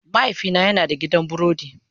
Mahaifina yana da gidan burodi.